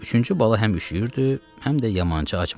Üçüncü bala həm üşüyürdü, həm də yamanca acmışdı.